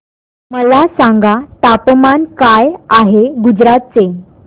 मला सांगा तापमान काय आहे गुजरात चे